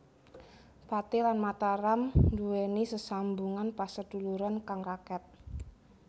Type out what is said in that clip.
Pathi lan Mataram nduweni sesambungan paseduluran kang raket